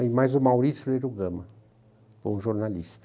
E mais o Maurício Lírio Gama, bom jornalista.